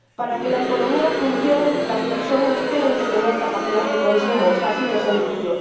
Para que la economía funcione, las personas tienen que tener capacidad de consumo es así de sencillo.